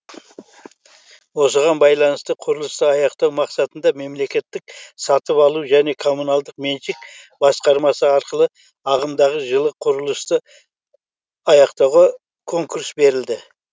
осыған байланысты құрылысты аяқтау мақсатында мемлекеттік сатып алу және коммуналдық меншік басқармасы арқылы ағымдағы жылы құрылысты аяқтауға конкурс берілді